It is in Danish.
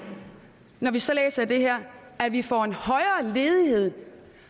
når vi så læser i det her at vi får en højere ledighed